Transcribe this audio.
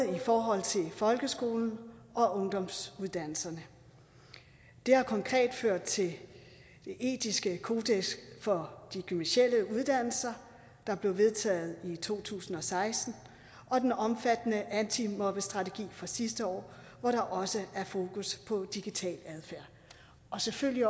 folkeskolen og ungdomsuddannelserne det har konkret ført til det etiske kodeks for de gymnasiale uddannelser der blev vedtaget i to tusind og seksten og den omfattende antimobbestrategi fra sidste år hvor der også er fokus på digital adfærd selvfølgelig